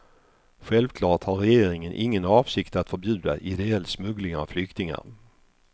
Självklart har regeringen ingen avsikt att förbjuda ideell smuggling av flyktingar.